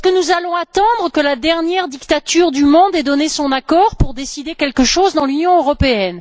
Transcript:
Allons nous attendre que la dernière dictature du monde ait donné son accord pour décider quelque chose dans l'Union européenne?